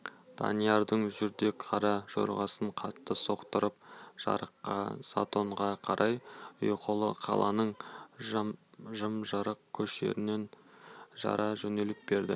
даниярдың жүрдек қара жорғасын қатты соқтыртып жыраққа затонға қарай ұйқылы қаланың жым-жырт көшелерін жара жөнеліп берді